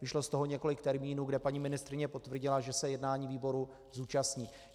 Vyšlo z toho několik termínů, kde paní ministryně potvrdila, že se jednání výboru zúčastní.